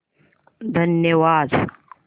धन्यवाद